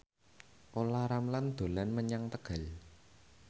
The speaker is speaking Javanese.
Olla Ramlan dolan menyang Tegal